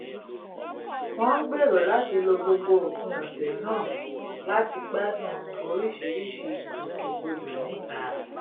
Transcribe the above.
wọ́n ń gbèrò láti lo gbogbo òpin ọ̀sẹ̀ náà láti gbádùn oríṣiríṣi ìgbòkègbodò níta